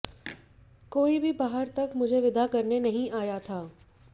कोई भी बाहर तक मुझे विदा करने नहीं आया था